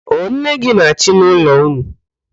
Ọ nne gị na-achị n'ụlọ ụnụ?